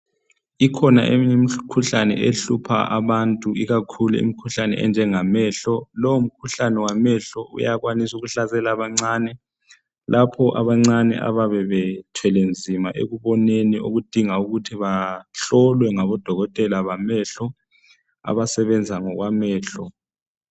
Ikhona emiyekhuhlane ehlupha abantu ikakhulu imikhuhlane enjenga mehlo lowo mkhuhlane wamehlo uyakwanisa ukuhlasela abancane lapho abancane babe bethwelenzima ekuboneni okudinga ukuthi bahlolwe ngodokotela bamehlo abasebenza ngokwamehlo.